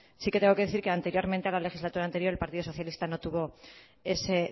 sí que tengo que decir que anteriormente en la legislatura anterior el partido socialista no tuvo ese